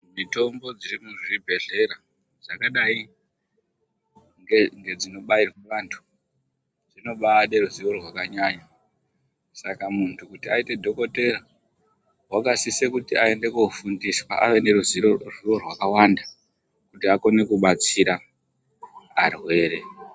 Mitombo dziri muzvibhehlera dzakadai ngedzinobairwa vantu dzinobaade ruziwo rwakanyanya .Saka muntu kuti aite dhokodheya wakasise kuti aende koofundiswa ave neruzivo rwakawanda kuti akone kubatsira varwere.